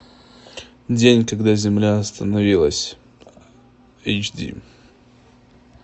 день когда земля остановилась эйч ди